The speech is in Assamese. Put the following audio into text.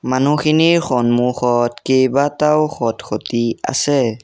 মানুহখিনিৰ সন্মুখত কেইবাটাও খট-খঁটি আছে।